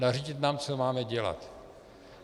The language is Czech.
Nařídit nám, co máme dělat.